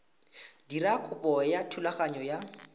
dira kopo ya thulaganyo ya